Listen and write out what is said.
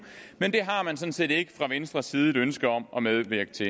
men det har man sådan set ikke fra venstres side et ønske om at medvirke til